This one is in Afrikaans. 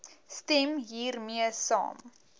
stem hiermee saam